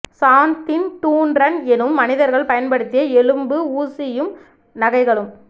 சான்தின் தூன் ரன் எனும் மனிதர்கள் பயன்படுத்திய எலும்பு ஊசியும் நகைகளும்